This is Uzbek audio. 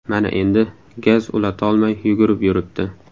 Mana endi gaz ulatolmay yugurib yuribdi.